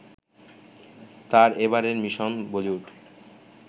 তার এবারের মিশন বলিউড